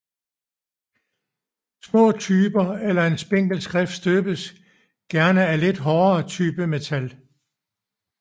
Små typer eller en spinkel skrift støbes gerne af lidt hårdere typemetal